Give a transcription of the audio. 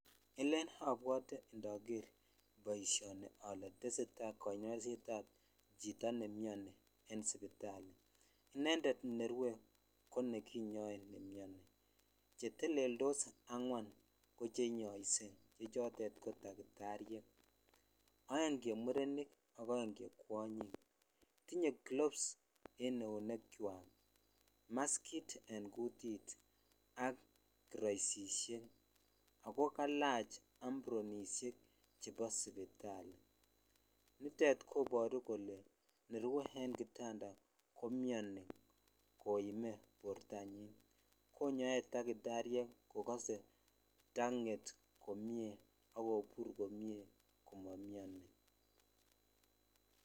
Elen abwate ndager boisioni ale teseta kanyoisetab chito ne miani en sipitali. Inendet ne rue konekinyoe ne miani. Che teleldos angwan ko chenyoise. Biichotet ko takitariek. Aeng che murenik ak aeng che kwonyik. Tinye kilops en eunekwak, maskit eng kutit ak kiraisisiek ago kalach ampronisiek chebo supitali. Nitet kobaru kole nerui eng kitanda ko miani koime bortanyin. Konyoe takitariek kogase tanget komie ak kopur komie komamiani.